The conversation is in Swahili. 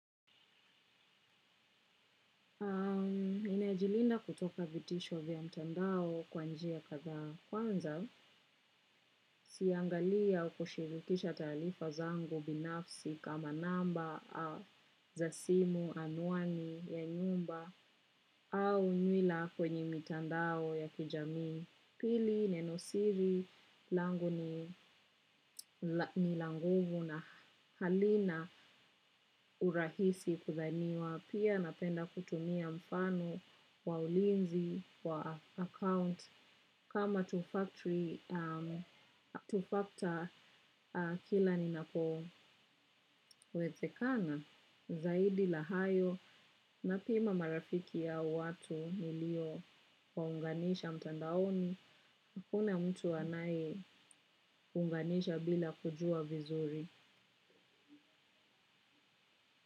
Ninajilinda kutoka vitisho vya mtandao kwa njia kadhaa kwanza, siangalii ya kushirikisha taarifa zangu binafsi kama namba za simu anwani ya nyumba au nywila kwenye mitandao ya kijamii. Pili, nenosiri, langu ni la ngumu na halina urahisi kudhaniwa. Pia napenda kutumia mfano wa ulinzi wa account. Kama tufakta kila ninako wezekana zaidi la hayo. Na pima marafiki ya watu nilio kuwaunganisha mtandaoni, kuna mtu anayeunganisha bila kujua vizuri.